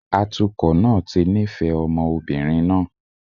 Atukọ̀ náà ti nífẹ̀ẹ́ ọmọ obìnrin náà